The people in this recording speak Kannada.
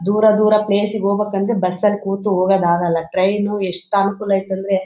ದೂರ ದೂರ ಪ್ಲೇಸ್ ಗೆ ಹೋಗ್ಬೇಕು ಅಂದ್ರೆ ಬಸ್ ನಲ್ಲಿ ಕೂತು ಹೋಗಕ್ಕೆ ಆಗೋಲ್ಲ ಟ್ರೈನ್ ಎಷ್ಟ್ ಅನುಕೂಲ ಐತ್ತೆ ಅಂದ್ರೆ--